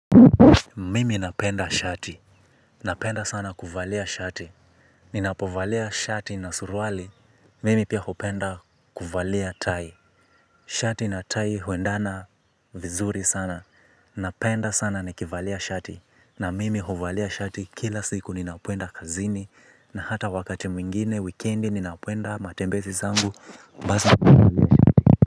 Mimi napenda shati, napenda sana kuvalia shati, ninapovalia shati na surwali, mimi pia hopenda kuvalia tai. Shati na tai huendana vizuri sana, napenda sana nikivalia shati, na mimi hovalia shati kila siku ninapoenda kazini, na hata wakati mwingine, weekendi ninapoenda matembesi zangu, basa mwingine.